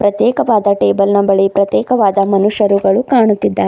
ಪ್ರತ್ಯೇಕವಾದ ಟೇಬಲ್ ನ ಬಳಿ ಪ್ರತ್ಯೇಕವಾದ ಮನುಷ್ಯರುಗಳು ಕಾಣುತ್ತಿದ್ದಾರೆ.